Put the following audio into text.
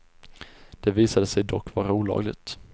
Detta visade sig dock vara olagligt.